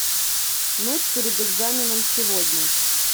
ночь перед экзаменом сегодня